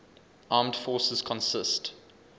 armed forces consist